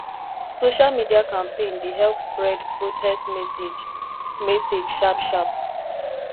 social media campaign dey help spread protest message message sharp sharp